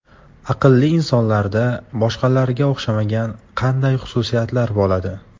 Aqlli insonlarda boshqalarga o‘xshamagan qanday xususiyatlar bo‘ladi?